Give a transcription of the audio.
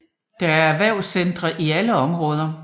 Der er erhvervscentre i alle områder